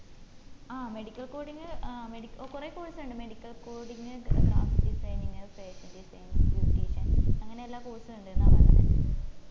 ആ medical coding ഏർ കൊറേ course ഇണ്ട് medical coding, web designing, fashion desinging, beautician അങ്ങനെ എല്ലാ course ഇണ്ടിന്ന പറഞ്ഞെ